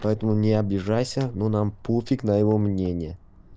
поэтому не обижайся но нам пофиг на его мнение